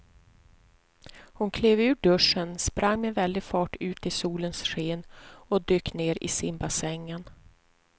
Hon klev ur duschen, sprang med väldig fart ut i solens sken och dök ner i simbassängen.